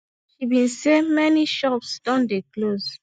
she bin say many shops don dey close